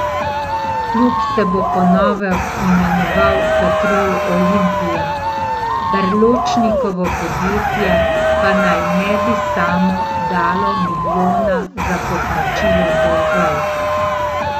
Klub se bo po novem imenoval Petrol Olimpija, Berločnikovo podjetje pa naj ne bi samo dalo milijona za poplačilo dolgov.